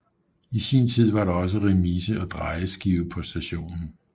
I sin tid var der også remise og drejeskive på stationen